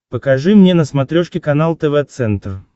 покажи мне на смотрешке канал тв центр